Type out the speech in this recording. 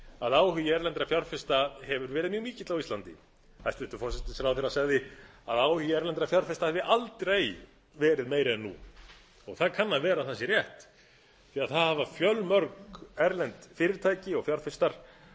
að áhugi erlendra fjárfesta hefur verið mjög mikill á íslandi hæstvirtur forsætisráðherra sagði að áhugi erlendra fjárfesta hefði aldrei verið meiri en nú og það kann að vera að það sé rétt því það hafa fjölmörg erlend fyrirtæki og fjárfestar